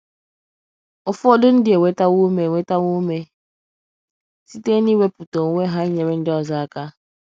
Ụfọdụ ndị enwetawo ụme enwetawo ụme site n’iwepụta onwe ha ịnyere ndị ọzọ aka.